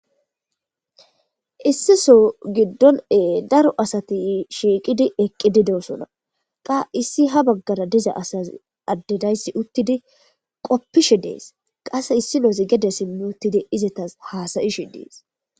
issiso giddon ee daro asati shiiqidi eqqi dideosona qa issi ha baggara diza asaz addedayssi uttidi qoppishe dees qase issi noosi gede simmi uttidi izetas haasayishe dees